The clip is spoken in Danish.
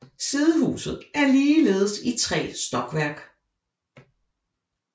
Sidehuset er ligeledes i tre stokværk